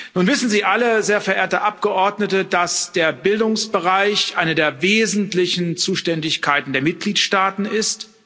Nun wissen Sie alle, sehr verehrte Abgeordnete, dass der Bildungsbereich eine der wesentlichen Zuständigkeiten der Mitgliedsstaaten ist.